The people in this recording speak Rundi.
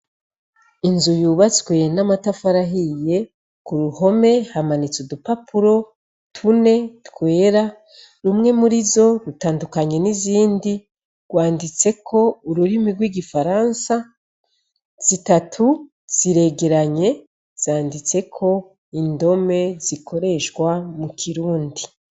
Inzu yubatswe n'amatafarahiye ku ruhome hamanitse udupapuro tune twera rumwe muri zo rutandukanye n'izindi rwanditse ko ururimi rw'igifaransa, zitatu ziregeranye zanditse ko indome zikoreshwa mu kirundi.